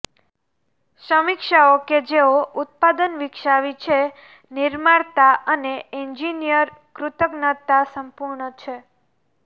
સમીક્ષાઓ કે જેઓ ઉત્પાદન વિકસાવી છે નિર્માતા અને એન્જિનિયર કૃતજ્ઞતા સંપૂર્ણ છે